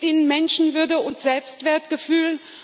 Sie gibt ihnen Menschenwürde und Selbstwertgefühl.